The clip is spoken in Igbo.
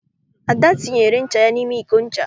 Ada tinyere ncha ya n'ime iko ncha.